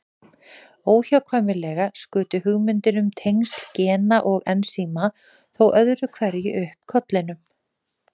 Óhjákvæmilega skutu hugmyndir um tengsl gena og ensíma þó öðru hverju upp kollinum.